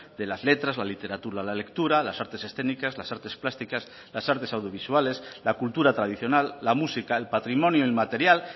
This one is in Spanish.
de las letras la literatura la lectura las artes escénicas las artes plásticas las artes audiovisuales la cultura tradicional la música el patrimonio inmaterial